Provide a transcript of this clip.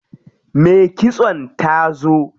Me kitson ta zo.